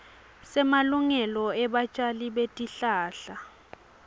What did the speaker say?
semalungelo ebatjali betihlahla